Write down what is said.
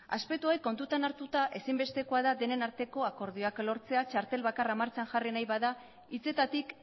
aspektu hauek kontutan hartuta ezinbestekoa da denen arteko akordioak lortzea txartel bakarra martxan jarri nahi bada hitzetatik